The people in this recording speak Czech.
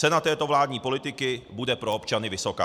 Cena této vládní politiky bude pro občany vysoká.